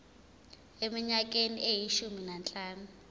eminyakeni eyishumi nanhlanu